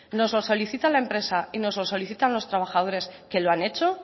nos lo solicita la empresa y nos lo solicitan los trabajadores que lo han hecho